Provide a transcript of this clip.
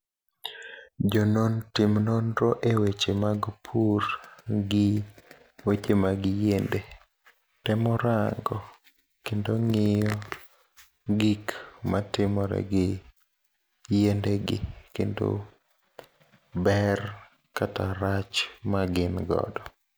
Jonon tim nonro e weche mag pur gi weche mag yiende, temorango kendo ng'iyo gikma timore gi yiende gi kendo ber kata rach magin godo.